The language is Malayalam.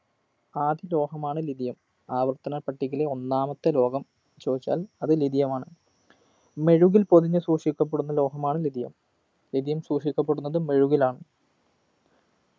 ആദ്യ ലോഹമാണ് lithium ആവർത്തനപ്പട്ടികയിലെ ഒന്നാമത്തെ ലോഹം ചോദിച്ചാൽ അത് lithium മാണ് മെഴുകിൽ പൊതിഞ്ഞു സൂക്ഷിക്കപ്പെടുന്ന ലോഹമാണ് lithiumlithium സൂക്ഷിക്കപ്പെടുന്നത് മെഴുകിലാണ്